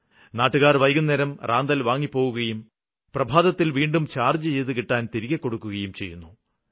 നാട്ടുകാര് വൈകുന്നേരം റാന്തല് വാങ്ങിപ്പോകുകയും പ്രഭാതത്തില് വീണ്ടും ചാര്ജ്ജ് ചെയ്ത് കിട്ടാന് തിരികെ കൊടുക്കുകയും ചെയ്യുന്നു